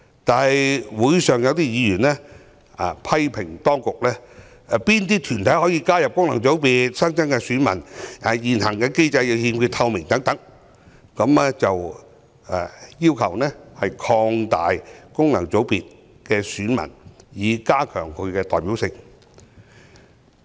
但會上有委員批評當局，對哪些團體可以加入功能界別、新增選民的身份提出質疑，指現行機制欠缺透明，又要求擴大功能界別的選民基礎，以加強其代表性。